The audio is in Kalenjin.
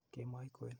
Kemoi kwen.